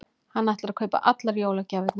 Hann ætlar að kaupa allar jólagjafirnar.